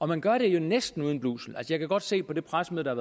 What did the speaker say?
man gør det jo næsten uden blusel jeg kan godt se på det pressemøde der